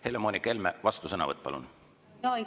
Helle-Moonika Helme, vastusõnavõtt, palun!